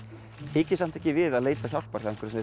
hikið samt ekki við að leita hjálpar hjá einhverjum